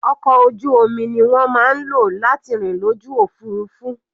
Ọkọ̀ ojú omi ni wọ́n máa ń lò láti rìn lójú òfurufú.